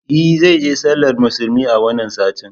E zai je sallar musulmi a wannan satin